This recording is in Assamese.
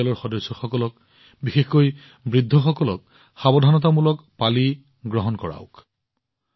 আপোনাৰ পৰিয়ালৰ সদস্যসকলক বিশেষকৈ বৃদ্ধসকলক সাৱধানতামূলক পালি প্ৰদান কৰক